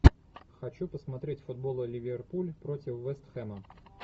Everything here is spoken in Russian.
хочу посмотреть футбол ливерпуль против вестхэма